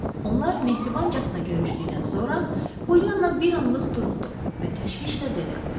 Onlar mehribancasına görüşdükdən sonra Poliana bir anlıq duruxdu və təşvişlə dedi: